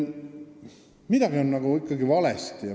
Midagi on ikkagi valesti.